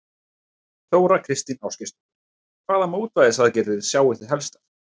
Þóra Kristín Ásgeirsdóttir: Hvaða mótvægisaðgerðir sjái þið helstar?